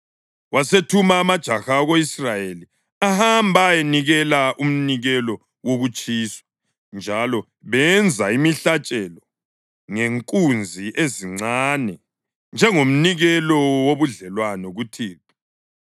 Wasethuma amajaha ako-Israyeli ahamba ayanikela umnikelo wokutshiswa njalo benza imihlatshelo ngenkunzi ezincane njengomnikelo wobudlelwano kuThixo.